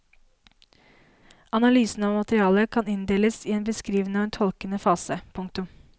Analysen av materialet kan inndeles i en beskrivende og en tolkende fase. punktum